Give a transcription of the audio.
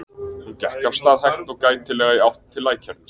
Hún gekk af stað hægt og gætilega í átt til lækjarins.